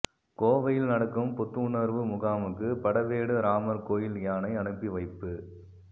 கோவையில் நடக்கும் புத்துணர்வு முகாமுக்கு படவேடு ராமர் கோயில் யானை அனுப்பி வைப்பு